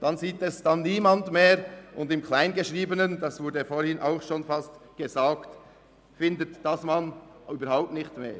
Das sieht kaum jemand mehr, und im Kleingeschriebenen – es wurde vorhin gesagt – findet man die Angaben überhaupt nicht mehr.